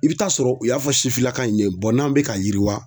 I bɛ taa sɔrɔ u y'a fɔ sifinnaka in ye n'an bɛ ka yiriwa.